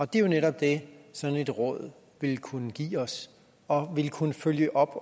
det er jo netop det sådan et råd ville kunne give os og ville kunne følge op